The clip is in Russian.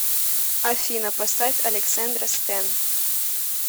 афина поставь алексэндра стэн